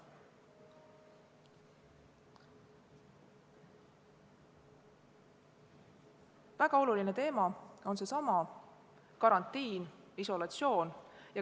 Väga oluline teema on seesama karantiin, isolatsioon.